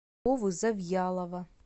вовы завьялова